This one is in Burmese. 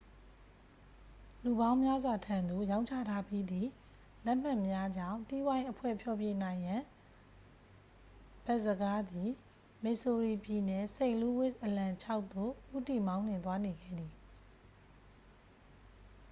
လူပေါင်းများစွာထံသု့ိ ရောင်းချထားပြီးသည့် လက်မှတ်များကြောင့် တီးဝိုင်းအဖွဲ့ ဖျော်ဖြေနိုင်ရန် ဘတ်စကားသည် မစ်ဆိုရီပြည်နယ် စိန့်လူးဝစ် အလံ ခြေက် သို့ ဦးတည်မောင်းနှင်သွားနေခဲ့သည်